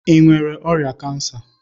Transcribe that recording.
Ị nwere ọrịa cancer!